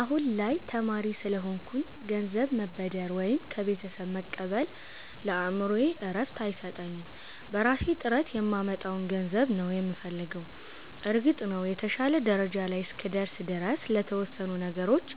አሁን ላይ ተማሪ ስለሆንኩኝ ገንዘብ መበደር ወይም ከቤተሰብ መቀበል ለአእምሮዬ እረፍት አይሰጠኝም። በራሴ ጥረት የማመጣውን ገንዘብ ነው የምፈልገው። እርግጥ ነው፣ የተሻለ ደረጃ ላይ እስክደርስ ድረስ ለተወሰኑ ነገሮች